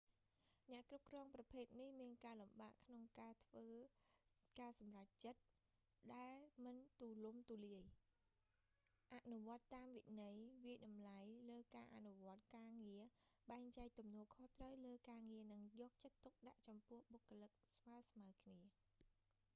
អ្នកគ្រប់គ្រងប្រភេទនេះមានការលំបាកក្នុងការធ្វើការសម្រេចចិត្តដែលមិនទូលំទូលាយ អនុវត្តន៍តាមវិន័យ វាយតម្លៃលើការអនុវត្តន៍ការងារ បែងចែកទំនួលខុសត្រូវលើការងារ និងយកចិត្តទុកដាក់ចំពោះបុគ្គលិកស្មើៗគ្នា